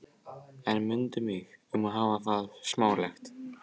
En mundu mig um að hafa það smálegt.